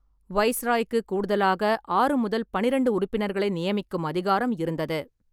வைசிராய்க்கு கூடுதலாக ஆறு முதல் பன்னிரண்டு உறுப்பினர்களை நியமிக்கும் அதிகாரம் இருந்தது.